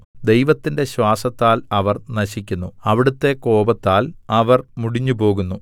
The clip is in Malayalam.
ദൈവത്തിന്റെ ശ്വാസത്താൽ അവർ നശിക്കുന്നു അവിടുത്തെ കോപത്താൽ അവർ മുടിഞ്ഞുപോകുന്നു